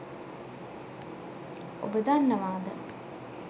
ඔබ දන්නවාද?